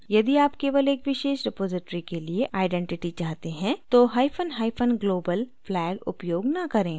यदि आप केवल एक विशेष रिपॉज़िटरी के लिए आइडेंटिटी चाहते हैं तो hyphen hyphen global flag उपयोग न करें